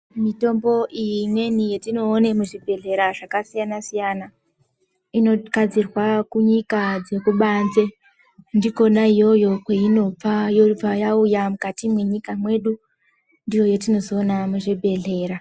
Mitombo iyi imweni yetinoone muzvibhedhlera zvakasiyana siyana, inogadzirwa kunyika dzekubanze. Ndikona iyoyo kweinobva yobva yauya mukati mwenyika mwedu. Ndiyo yetinozoona muzvibhedhlera.